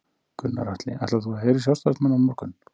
Gunnar Atli: Ætlar þú að heyra í sjálfstæðismönnum á morgun?